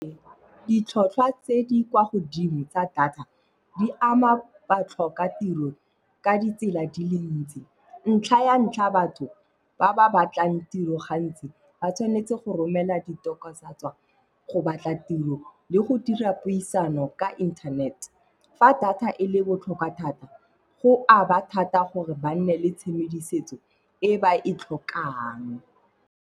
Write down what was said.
Ditlhotlhwa tse di kwa godimo tsa data, di ama batlhokatiro ka ditsela di le ntsi. Ntlha ya ntlha, batho ba ba batlang tiro gantsi ba tshwanetse go romela go batla tiro le go dira puisano ka internet. Fa data e le botlhokwa thata go a ba thata gore ba nne le tshedimosetso e ba e tlhokang.